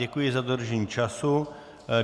Děkuji za dodržení času.